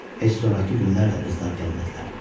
Heç sonrakı günlər də qızlar gəlmədilər.